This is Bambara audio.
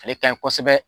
Ale ka ɲi kosɛbɛ